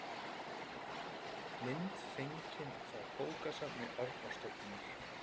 mynd fengin frá bókasafni árnastofnunar